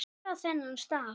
Hver á þennan staf?